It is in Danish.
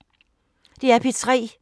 DR P3